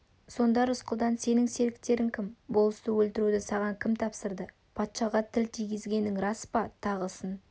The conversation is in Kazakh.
сонда рысқұлдан сенің серіктерің кім болысты өлтіруді саған кім тапсырды патшаға тіл тигізгенің рас па тағысын